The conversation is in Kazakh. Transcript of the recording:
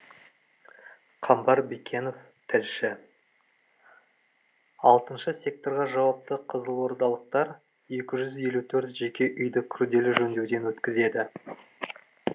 қамбар бекенов тілші алтыншы секторға жауапты қызылордалықтар екі жүз елу төрт жеке үйді күрделі жөндеуден өткізеді